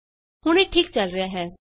ਹੁਣ ਇਹ ਠੀਕ ਚਲ ਰਿਹਾ ਹੈ